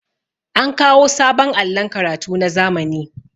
an kawo sabon allon karatu na zamani